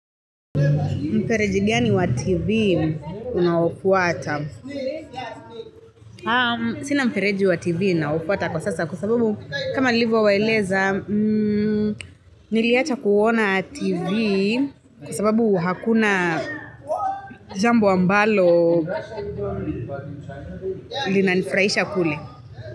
Mfereji gani wa TV unaofuata Sina mfereji wa TV ninaofuata kwa sasa kwa sababu kama nilivyowaeleza Niliacha kuona TV kwa sababu hakuna jambo ambalo linanifurahisha kule.